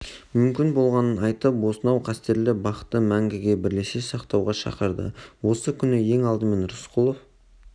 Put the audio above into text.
мүмкін болғанын айтып осынау қастерлі бақты мәңгіге бірлесе сақтауға шақырды осы күні ең алдымен рысқұлов